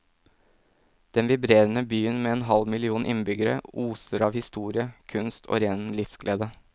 Denne vibrerende byen med en halv million innbyggere oser av historie, kunst og ren livsglede.